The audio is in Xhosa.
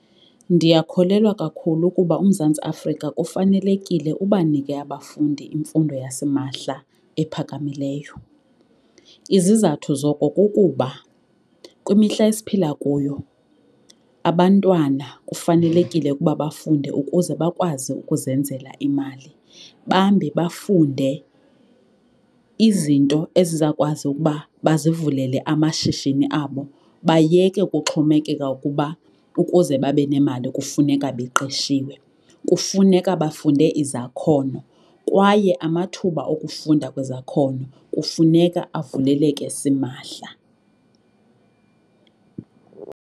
Ndiyakholelwa kakhulu ukuba uMzantsi Afrika kufanelekile ubanike abafundi imfundo yasimahla ephakamileyo. Izizathu zoko kukuba kwimihla esiphila kuyo abantwana kufanelekile ukuba bafunde ukuze bakwazi ukuzenzela imali. Bambi bafunde izinto ezizawukwazi ukuba bazivulele amashishini abo bayeke ukuxhomekeka ukuba ukuze babe nemali kufuneka beqeshiwe. Kufuneka bafunde izakhono kwaye amathuba okufunda kwezakhono kufuneka avuleleke simahla.